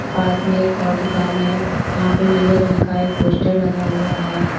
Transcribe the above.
पास में एक और दुकान है यहां पे नीले रंग का एक पोस्टर लगा हुआ है।